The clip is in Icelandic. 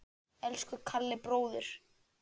Elsku Kalli bróðir.